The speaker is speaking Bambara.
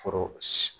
Foro si